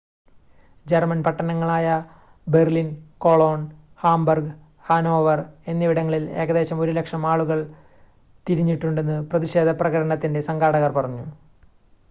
German പട്ടണങ്ങളായ Berlin Cologne Hamburg Hanover എന്നിവിടങ്ങളിൽ ഏകദേശം 100,000 ആളുകൾ തിരിഞ്ഞിട്ടുണ്ടെന്ന് പ്രതിഷേധപ്രകടനത്തിൻ്റെ സംഘാടകർ പറഞ്ഞു